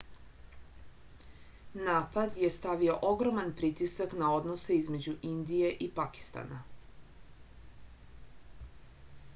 napad je stavio ogroman pritisak na odnose između indije i pakistana